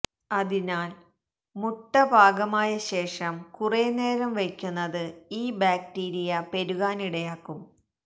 അതിനാല് മുട്ട പാകമായ ശേഷം കുറേ നേരം വയ്ക്കുന്നത് ഈ ബാക്ടീരിയ പെരുകാനിടയാക്കും